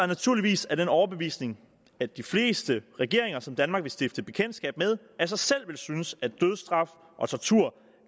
naturligvis af den overbevisning at de fleste regeringer som danmark vil stifte bekendtskab med af sig selv vil synes at dødsstraf og tortur